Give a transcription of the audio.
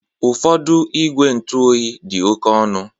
Ụfọdụ igwe ntụ oyi dị oke ọnụ